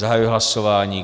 Zahajuji hlasování.